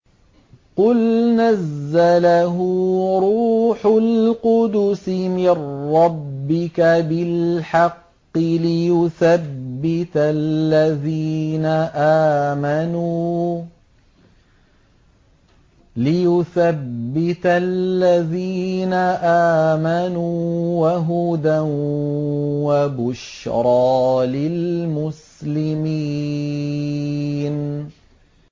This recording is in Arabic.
قُلْ نَزَّلَهُ رُوحُ الْقُدُسِ مِن رَّبِّكَ بِالْحَقِّ لِيُثَبِّتَ الَّذِينَ آمَنُوا وَهُدًى وَبُشْرَىٰ لِلْمُسْلِمِينَ